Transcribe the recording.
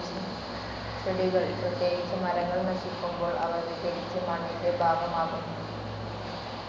ചെടികൾ, പ്രത്യേകിച്ച് മരങ്ങൾ നശിക്കുമ്പോൾ, അവ വിഘടിച്ച് മണ്ണിന്റെ ഭാഗമാകുന്നു.